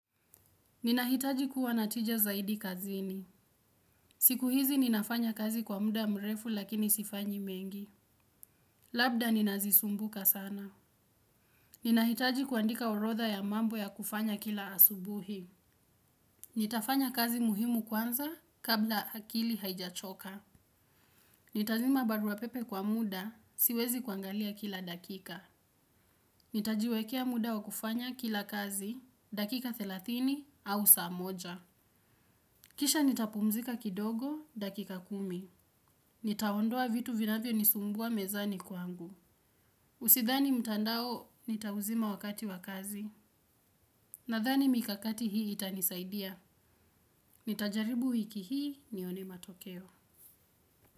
Ninahitaji kuwa natija zaidi kazini. Siku hizi ninafanya kazi kwa muda mrefu lakini sifanyi mengi. Labda ninazisumbuka sana. Ninahitaji kuandika orodha ya mambo ya kufanya kila asubuhi. Nitafanya kazi muhimu kwanza kabla akili haijachoka. Nitazima barua pepe kwa muda siwezi kuangalia kila dakika. Nitajiwekea muda wa kufanya kila kazi dakika thelathini au saa moja. Kisha nitapumzika kidogo, dakika kumi. Nitaondoa vitu vinavyo nisumbua mezani kwangu. Usidhani mtandao, nitauzima wakati wakazi. Nadhani mikakati hii itanisaidia. Nitajaribu wiki hii nione matokeo.